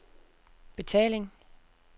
betaling